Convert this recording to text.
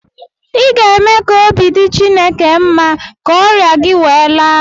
ị ga-eme ka obi dị Chineke mma ka ọrịa gị wee laa